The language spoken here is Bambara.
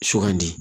Sugandi